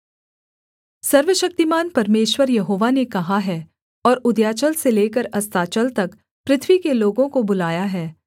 सर्वशक्तिमान परमेश्वर यहोवा ने कहा है और उदयाचल से लेकर अस्ताचल तक पृथ्वी के लोगों को बुलाया है